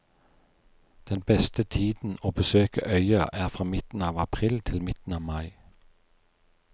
Den beste tiden å besøke øya er fra midten av april til midten av mai.